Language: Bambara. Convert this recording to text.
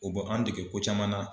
O bon an dege ko caman na.